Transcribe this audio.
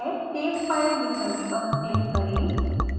save file विकल्प पर click करें